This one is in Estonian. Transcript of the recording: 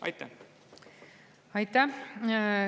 Aitäh!